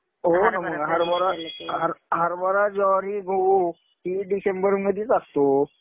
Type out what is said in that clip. हो ना मग. हरभरा, ज्वारी, गहू हि डिसेंबरमधीच असतो.